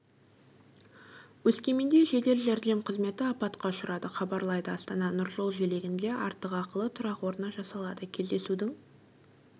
өскеменде жедел жәрдем қызметі апатқа ұшырады хабарлайды астанада нұржол желегінде артық ақылы тұрақ орны жасалады кездесудің